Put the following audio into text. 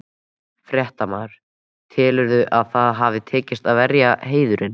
Fréttamaður: Telurðu að það hafi tekist, að verja heiðurinn?